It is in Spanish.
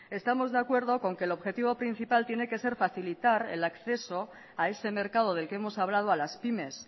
estamos de acuerdo con que el objetivo principal tiene que se facilitar el acceso a ese mercado del que hemos hablado a las pymes